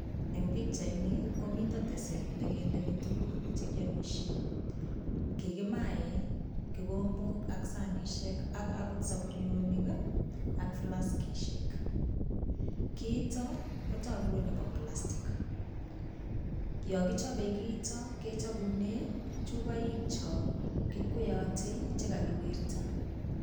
Eng' pikchaini komito teset nekendeni tukuk chekiomishe kikimae kikombok ak saishek ak akot sopurionik ak flaskishek kiito kotoku kole bo plastic yo kichobei kiito kechopune chupoik cho kikweyotei chikakiwirta